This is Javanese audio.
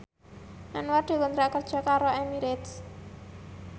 Anwar dikontrak kerja karo Emirates